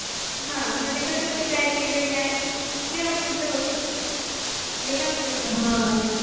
हा मंजे कस त्या related नाही आणि